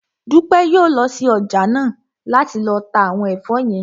Dúpẹ́ yóò lọ sí ọjà náà láti lọ ta àwọn ẹ̀fọ́ yẹn